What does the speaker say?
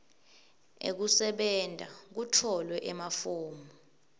ekusebenta kutfolwe emafomu